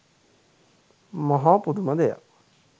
මහා පුදුම දෙයක්